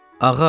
Ağa!